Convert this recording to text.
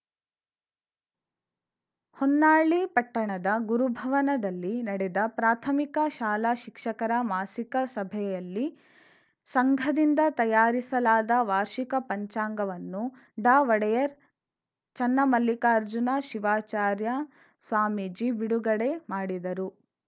ಹೊನ್ನಾಳಿ ಪಟ್ಟಣದ ಗುರುಭವನದಲ್ಲಿ ನಡೆದ ಪ್ರಾಥಮಿಕ ಶಾಲಾ ಶಿಕ್ಷಕರ ಮಾಸಿಕ ಸಭೆಯಲ್ಲಿ ಸಂಘದಿಂದ ತಯಾರಿಸಲಾದ ವಾರ್ಷಿಕ ಪಂಚಾಂಗವನ್ನು ಡಾಒಡೆಯರ್‌ ಚನ್ನಮಲ್ಲಿಕಾರ್ಜುನ ಶಿವಾಚಾರ್ಯ ಸ್ವಾಮೀಜಿ ಬಿಡುಗಡೆ ಮಾಡಿದರು